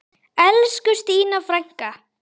Elsku Stína frænka.